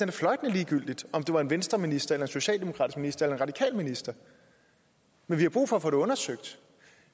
det fløjtende ligegyldigt om det var en venstreminister eller en socialdemokratisk minister eller en radikal minister men vi har brug for at få det undersøgt